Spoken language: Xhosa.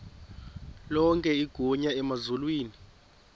lonke igunya emazulwini